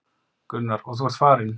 Gunnar: Og þú ert farinn.